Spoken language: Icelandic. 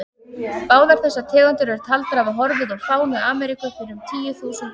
Báðar þessar tegundir eru taldar hafa horfið úr fánu Ameríku fyrir um tíu þúsund árum.